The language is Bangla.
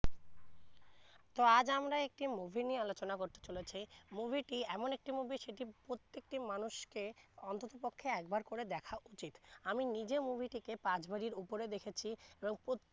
তো আজ আমরা একটি movie নিয়ে আলোচনা করতে চলেছি movie টি এমন একটি movie সেটি প্রত্যকটি মানুষকে অন্তত পক্ষে একবার করে দেখা উচিৎ আমি নিজে movie টিকে পাঁচ বারের উপরে দেখেছি এবং প্র